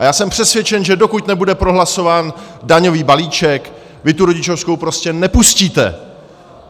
A já jsem přesvědčen, že dokud nebude prohlasován daňový balíček, vy tu rodičovskou prostě nepustíte.